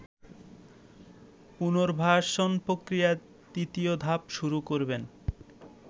পুনর্বাসন প্রক্রিয়ার তৃতীয় ধাপ শুরু করবেন